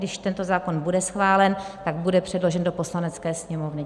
Když tento zákon bude schválen, tak bude předložen do Poslanecké sněmovny.